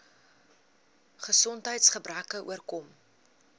gesondheids gebreke oorkom